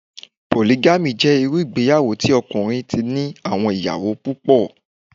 Pòlígámì jẹ́ irú ìgbéyàwó tí ọkùnrin ti ní àwọn ìyàwó púpọ̀